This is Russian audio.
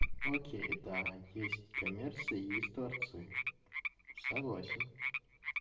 окей да есть есть коммерция есть творцы согласен